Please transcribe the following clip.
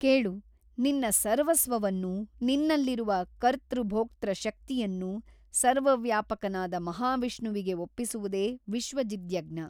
ಕೇಳು ನಿನ್ನ ಸರ್ವಸ್ವವನ್ನೂ ನಿನ್ನಲ್ಲಿರುವ ಕರ್ತೃಭೋಕ್ತೃಶಕ್ತಿಯನ್ನೂ ಸರ್ವವ್ಯಾಪಕನಾದ ಮಹಾವಿಷ್ಣುವಿಗೆ ಒಪ್ಪಿಸುವುದೇ ವಿಸ್ವಜಿದ್ಯಜ್ಞ.